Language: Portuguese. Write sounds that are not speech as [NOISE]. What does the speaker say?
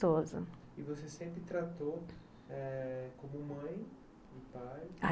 [UNINTELLIGIBLE] E você sempre tratou eh... como mãe e pai... [UNINTELLIGIBLE]